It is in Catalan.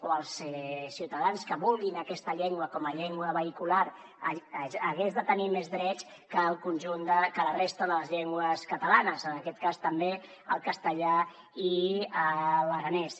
o els ciutadans que vulguin aquesta llengua com a llengua vehicular haguessin de tenir més drets que la resta de les llengües catalanes en aquest cas també el castellà i l’aranès